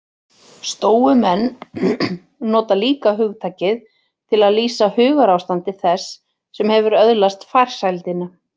Stóumenn nota líka hugtakið til að lýsa hugarástandi þess sem hefur öðlast farsældina.